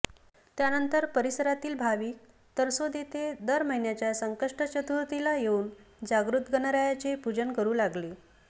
त्यानंतर परिसरातील भाविक तरसोद येथे दर महिन्याच्या संकष्ट चतुर्थीला येऊन जागृत गणरायाचे पूजन करू लागले